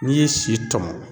N'i ye si tɔmɔn